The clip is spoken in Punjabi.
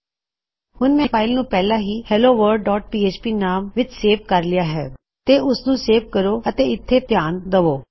ਹੁਣ ਮੈਂ ਆਪਣੀ ਫਾਇਲ ਨੂੰ ਪਹਿਲਾ ਹੀ helloworldਪੀਐਚਪੀ ਨਾਮ ਵਿੱਚ ਸੇਵ ਕਰ ਲਿੱਤਾ ਹੈ ਤੇ ਉਸਨੂੰ ਸੇਵ ਕਰੋ ਅਤੇ ਇੱਥੇ ਧਿਆਨ ਦਵੋ